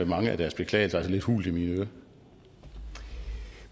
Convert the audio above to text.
mange af deres beklagelser altså lidt hult i